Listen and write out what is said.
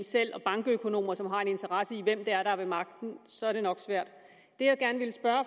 selv og bankøkonomer som har en interesse i hvem det er der er ved magten så er det nok svært